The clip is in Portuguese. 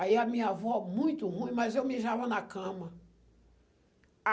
Aí a minha avó muito ruim, mas eu mijava na cama.